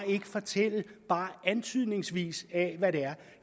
ikke fortælle bare antydningsvis at